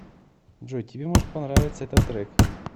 джой тебе может понравиться этот трек